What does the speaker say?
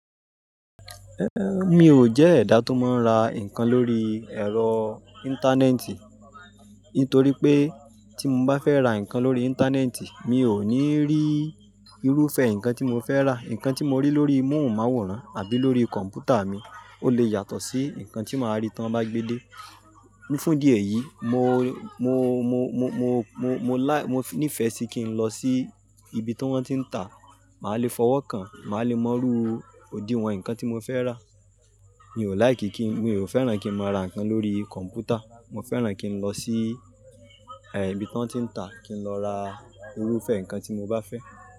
Mi ò jẹ́ ẹ̀dá tó máa ń ra nǹkan lórí ẹ̀rọ íńtánẹ́ẹ̀tì. Nítorí pé tí mo bá fẹ́ ra nǹkan lórí íńtánẹ́ẹ̀tì, mi ò ní rí irúfẹ́ nǹkan tí mo fẹ́ rà. Nǹkan tí mo rí lórí móhùn máwòrán àbí lórí kọ̀m̀pútà mi ó lè yàtọ̀ sí nǹkan tí màá rí tí wọ́n bá gbe dé. Fún ìdí ẹ̀yìí, mo, mo, mo, mo, mo, mo, mo lá-- mo níìfẹ̀ sí kí n lọ sí ibi tí wọ́n ti ń ta. Màá lè fọwọ́ kàn, màá lè mọrú odìwọ̀n nǹkan tí mo fẹ́ rà. Mi ò láìkí kí n-- mi ò fẹ́ràn kí n mo ra nǹkan lórí kọ̀m̀pútà. Mo fẹ́ràn kí n lọ sí ibi tó ń ti ń ta kí n lọ ra irúfẹ́ nǹkan tí mo bá fẹ́.